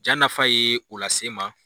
Ja nafa ye o lase n ma.